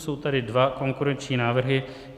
Jsou tady dva konkurenční návrhy.